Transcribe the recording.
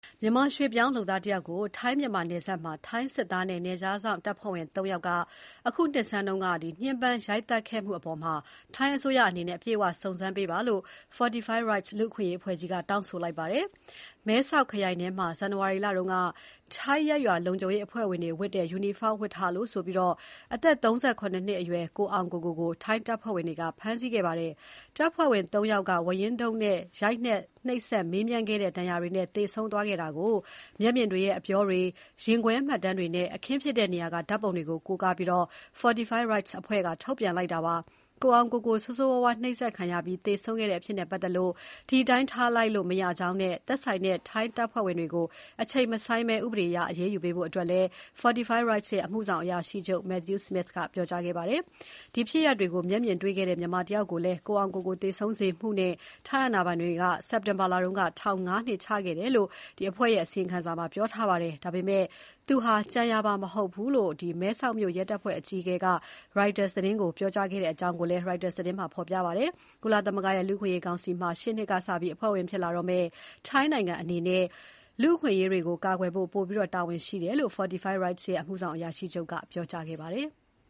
မြန်မာရွှေ့ပြောင်းလုပ်သားတယောက်ကို ထိုင်း မြန်မာနယ်စပ်မှာ စစ်သားနဲ့နယ်ခြားစောင့်တပ်ဖွဲ့ဝင် ၃ ယောက်က အခုနှစ်ဆန်းက ညှဉ်းပမ်းရိုက်သတ်ခဲ့မှုအပေါ် ထိုင်းအစိုးရအနေနဲ့ အပြည့်အဝ စုံစမ်းပေးဖို့ Fortify Rights လူ့အခွင့်အရေးအဖွဲ့က တောင်းဆိုလိုက်ပါတယ်။ မဲဆောက်ခရိုင်ထဲမှာ ဇန်နဝါရီလတုန်းက ‘ထိုင်းရပ်ရွာလုံခြုံရေးအဖွဲ့ဝင်တွေရဲ့ယူနီဖောင်းဝတ်ထားလို့’ ဆိုပြီး အသက် ၃၇ နှစ်အရွယ် ကိုအောင်ကိုကို-ကို ထိုင်းတပ်ဖွဲ့ဝင်တွေက ဖမ်းဆီးခဲ့ပါတယ်။ တပ်ဖွဲ့ဝင် ၃ ယောက်က ဝါးရင်းတုတ်နဲ့ ရိုက်နှက် နှိပ်စက်မေးမြန်းခဲ့တဲ့ဒဏ်ရာတွေကြောင့် သူသေဆုံးသွားခဲ့တာ ကို မျက်မြင်တွေရဲ့ အပြောတွေ၊ ရင်ခွဲမှတ်တမ်းတွေနဲ့ အခင်းဖြစ်တဲ့နေရာက ဓါတ်ပုံတွေကို ကိုးကားပြီး Fortify Rights အဖွဲ့က ထုတ်ပြန်လိုက်တာဖြစ်ပါတယ်။ ကိုအောင်ကိုကို ဆိုးဆိုးဝါးဝါး နှိပ်စက်ခံပြီး သေဆုံးခဲ့တဲ့ အဖြစ်နဲ့ပတ်သက်လို့ ဒီတိုင်းထားလိုက်လို့ မရကြောင်းနဲ့ သက်ဆိုင်တဲ့ ထိုင်းတပ်ဖွဲ့ဝင်တွေကို အချိန်မဆိုင်းဘဲ ဥပဒေအရ အရေးယူရပေးဖို့ Fortify Rights ရဲ့ အမှုဆောင်အရာရှိချုပ် Matthew Smith ကပြောကြားခဲ့ပါတယ်။ ဒီဖြစ်ရပ်တွေကို မျက်မြင်တွေ့ခဲ့တဲ့ မြန်မာတယောက်ကိုလည်း ကိုအောင်ကိုကို သေဆုံးစေမှုနဲ့ ထိုင်းအာဏာပိုင်တွေက စက်တင်ဘာလတုန်းက ထောင် ၅ နှစ်ချခဲ့တယ်လို့ Fortify Rights ရဲ့ အစီရင်ခံစာမှာ ပြောထားပါတယ်။ ဒါပေမဲ့ သူဟာ ကြံရာပါ မဟုတ်ဘူးလို့ မဲဆောက်မြို့ရဲတပ်ဖွဲ့အကြီးအကဲက Reutersကို ပြောခဲ့ကြောင်း Reuters သတင်းမှာ ဖော်ပြခဲ့ပါတယ်။ ကုလသမဂ္ဂရဲ့ လူ့အခွင့်အရေးကောင်စီမှာ ရှေ့နှစ်ကစပြီး အဖွဲ့ဝင်ဖြစ်လာမယ့် ထိုင်းနိုင်ငံအနေနဲ့ လူ့အခွင့်အရေးတွေကို ကာကွယ်ဖို့ ပိုပြီးတာဝန်ရှိတယ်လို့ Fortify Rights ရဲ့ အမှုဆောင်အရာရှိချုပ် Matthew Smith ကပြောကြားခဲ့ပါတယ်။